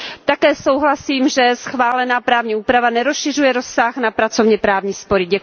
Také souhlasím s tím, že schválená právní úprava nerozšiřuje rozsah na pracovněprávní spory.